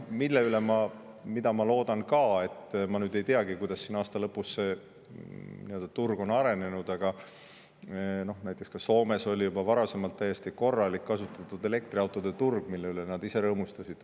Ja mida ma loodan ka, ma nüüd ei teagi, kuidas siin aasta lõpus see turg on arenenud, aga näiteks Soomes oli juba varasemalt täiesti korralik kasutatud elektriautode turg, mille üle nad ise rõõmustasid.